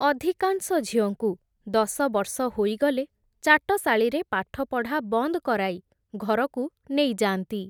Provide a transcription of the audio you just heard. ଅଧିକାଂଶ ଝିଅଙ୍କୁ, ଦଶବର୍ଷ ହୋଇଗଲେ ଚାଟଶାଳିରେ ପାଠପଢା ବନ୍ଦ୍ କରାଇ, ଘରକୁ ନେଇଯାଆନ୍ତି ।